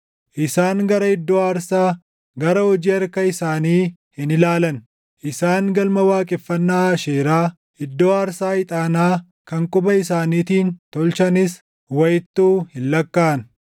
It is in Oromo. Isaan gara iddoo aarsaa, gara hojii harka isaanii hin ilaalan; isaan galma waaqeffannaa Aasheeraa, iddoo aarsaa ixaanaa kan quba isaaniitiin tolchanis // wayittuu hin lakkaaʼan.